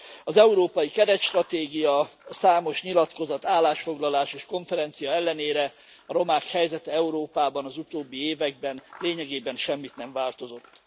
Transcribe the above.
Az európai keretstratégia számos nyilatkozat, állásfoglalás és konferencia ellenére a romák helyzete Európában, az utóbbi években lényegében semmit nem változott.